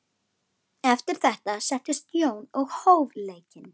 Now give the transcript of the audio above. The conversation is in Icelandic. Eftir þetta settist Jón og hóf leikinn.